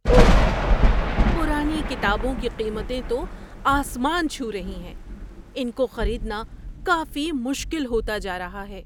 اوہ! پرانی کتابوں کی قیمتیں تو آسمان چھو رہی ہیں۔ ان کو خریدنا کافی مشکل ہوتا جا رہا ہے۔